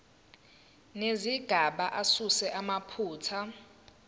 nezigaba asuse amaphutha